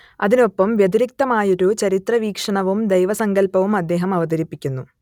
അതിനൊപ്പം വ്യതിരിക്തമായൊരു ചരിത്രവീക്ഷണവും ദൈവസങ്കല്പവും അദ്ദേഹം അവതരിപ്പിക്കുന്നു